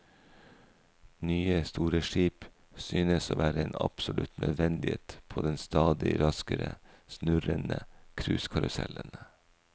Nye store skip synes å være en absolutt nødvendighet på den stadig raskere snurrende cruisekarusellen.